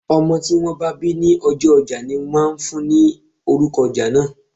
Ọmọ tí wón bá bí ní ọjọ́ ojá ní máà ń fún ni orúko ojá náà.